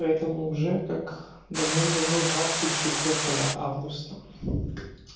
поэтому уже как давным-давно двацеть читвертева августа